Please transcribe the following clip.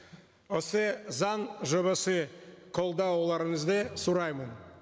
осы заң жобасы қолдауларыңызды сұраймын